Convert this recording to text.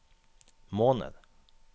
måned